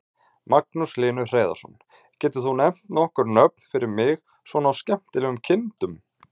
Magnús Hlynur Hreiðarsson: Getur þú nefnt nokkur nöfn fyrir mig svona á skemmtilegum kindum?